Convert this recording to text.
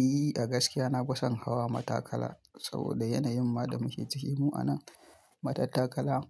E, a gaskiya nafi san hawa matakala saboda yanayin ma da muke ciki mu a nan. Matattakala